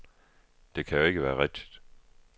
Det kan jo ikke være rigtigt.